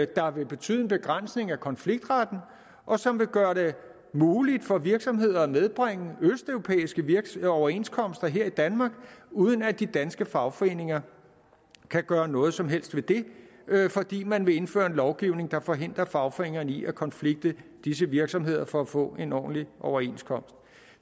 der vil betyde en begrænsning af konfliktretten og som vil gøre det muligt for virksomheder at medbringe østeuropæiske overenskomster her i danmark uden at de danske fagforeninger kan gøre noget som helst ved det fordi man vil indføre en lovgivning der forhindrer fagforeningerne i at konflikte disse virksomheder for at få en ordentlig overenskomst